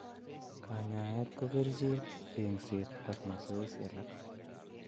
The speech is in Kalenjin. Kanyaeet ko kercheek, eng'seet, ak masoesi alak